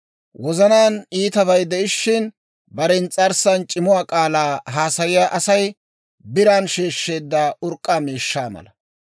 Wozanaan iitabay de'ishiina, bare ins's'arssan c'imuwaa k'aalaa haasayiyaa Asay biran sheeshsheedda urk'k'aa miishshaa mala.